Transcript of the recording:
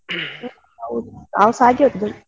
ನಾವ್ ಸಾ ಹಾಗೆ ಓದೋದು.